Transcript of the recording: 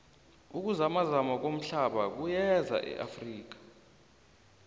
ukuzamazama komhlaba kuyeza neafrika